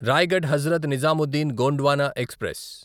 Raigad Hazrat Nizamuddin Gondwana express